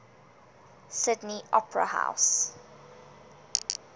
sydney opera house